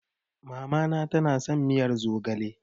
Mamana tana son miyar zogale.